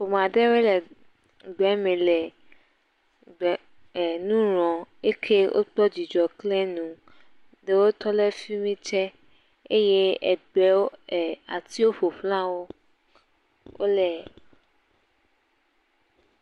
Ƒome aɖewoe le gble me le gb.., ee.., nu ŋlɔm, eke wokpɔ dzidzɔ klẽ nu. Ɖewo tɔ ɖe fi mi tse, eye egbewo.., atiwo ƒoxlawo, wole…..,